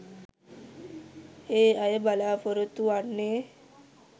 ඒ අය බලාපොරොත්තු වන්නේ